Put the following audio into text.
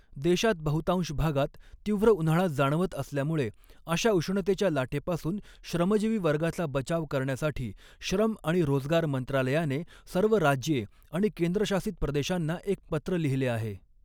देशात बहुतांश भागात तीव्र उन्हाळा जाणवत असल्यामुळे अशा उष्णतेच्या लाटेपासून श्रमजीवी वर्गाचा बचाव करण्यासाठी श्रम आणि रोजगार मंत्रालयाने सर्व राज्ये आणि केंद्रशासित प्रदेशांना एक पत्र लिहिले आहे.